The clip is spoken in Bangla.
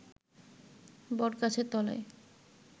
বটগাছের তলায়